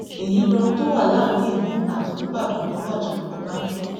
èyí lohun tó wà láàrin èmi àti olùbàdàn tó wájà ọbànjọ